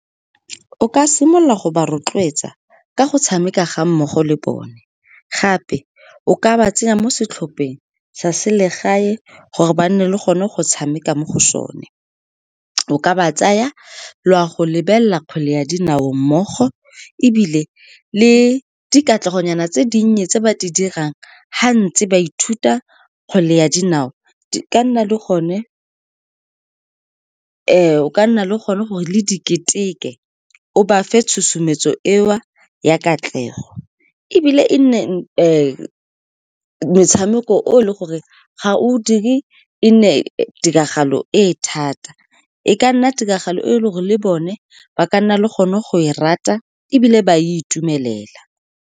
O ka simolola go ba rotloetsa ka go tshameka ga mmogo le bone. Gape, o ka ba tsenya mo setlhopheng sa selegae gore ba nne le gone go tshameka mo go sone. O ka ba tsaya la go lebelela kgwele ya dinao mmogo, ebile le dikatlegonyana tse dinnye tse ba di dirang ga ntse ba ithuta kgwele ya dinao, o ka nna le gone gore le di ketekete, o ba fe tshosometso eo ya katlego, ebile e nne metshameko o leng gore ga o dire e nne tiragalo e thata, e ka nna tiragalo e e leng gore bone ba ka nna le gone go e rata ebile ba itumelela.